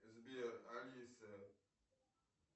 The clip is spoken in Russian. сбер алиса